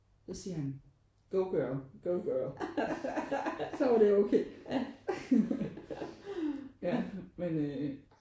Så siger han: Go girl go girl. Så var det okay ja men øh